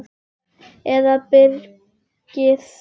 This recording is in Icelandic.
Eða byrgir þær allar inni.